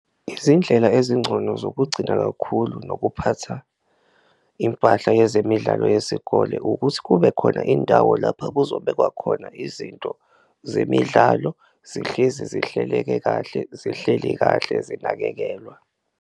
Izindlela ezingcono zokugcina kakhulu nokuphatha impahla yezemidlalo yesikole ukuthi kube khona indawo lapha kuzobekwa khona izinto zemidlalo zihlezi zihleleke kahle, zihleli kahle, zinakekelwa.